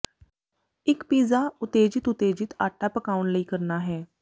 ਇੱਕ ਪੀਜ਼ਾ ਉਤੇਜਿਤ ਉਤੇਜਿਤ ਆਟੇ ਪਕਾਉਣ ਲਈ ਕਰਨਾ ਹੈ